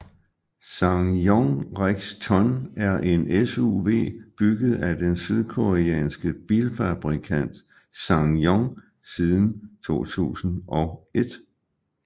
SsangYong Rexton er en SUV bygget af den sydkoreanske bilfabrikant SsangYong siden 2001